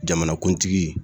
Jamanakuntigi